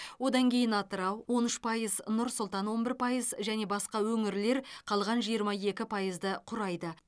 одан кейін атырау он үш пайыз нұр сұлтан он бір пайыз және басқа өңірлер қалған жиырма екі пайызды құрайды